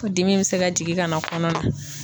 K'u dimi be se ka jigin kana kɔnɔ na.